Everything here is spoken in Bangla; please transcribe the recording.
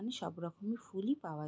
এইখানে সব রকমের ফুল এই পাওয়া যাই।